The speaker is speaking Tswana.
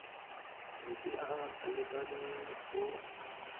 metsi a a lekaneng go